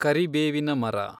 ಕರಿಬೇವಿನ ಮರ